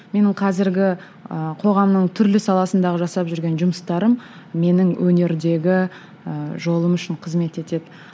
менің қазіргі ы қоғамның түрлі саласындағы жасап жүрген жұмыстарым менің өнердегі ііі жолым үшін қызмет етеді